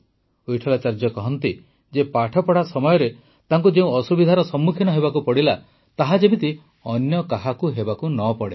ୱିଟଠଲାଚାର୍ଯ୍ୟ କହନ୍ତି ଯେ ପାଠପଢ଼ା ସମୟରେ ତାଙ୍କୁ ଯେଉଁ ଅସୁବିଧାର ସମ୍ମୁଖୀନ ହେବାକୁ ପଡ଼ିଲା ତାହା ଯେମିତି ଅନ୍ୟ କାହାକୁ ହେବାକୁ ନ ପଡ଼େ